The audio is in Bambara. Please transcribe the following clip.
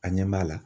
A ɲɛ b'a la